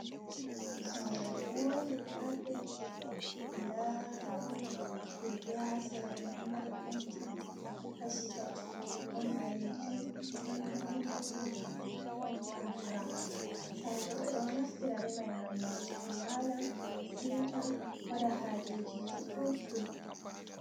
Sare vonde mapindiwa. Nda ɗon keke ha sera mai, ɗo mari penti kashi tati. Ɗon ɓaleejum, ɗon daneejum, ɗon bo brawn. Sare ɗo ɓe ɗo naftira be mai ngam nastuki wala, siwta, waɗa haajejiji ɗuɗdum.